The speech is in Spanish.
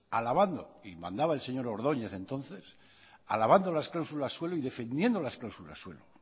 alabando y mandaba el señor ordóñez entonces alabando las cláusulas suelo y defendiendo las cláusulas suelo